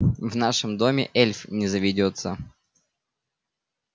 в нашем доме эльф не заведётся